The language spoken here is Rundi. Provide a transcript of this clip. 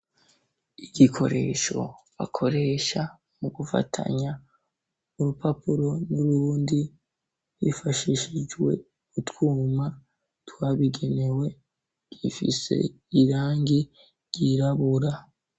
Igikoresho bakoresha mu gufatanya urupapuro n'uruhundi bifashishijwe gutwuma twabigenewe, rifise irangi ryirabura.